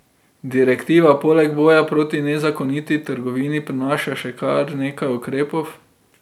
Direktiva poleg boja proti nezakoniti trgovini prinaša še kar nekaj ukrepov.